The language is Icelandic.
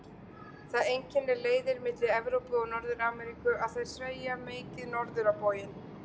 Það einkennir leiðir milli Evrópu og Norður-Ameríku að þær sveigja mikið norður á bóginn.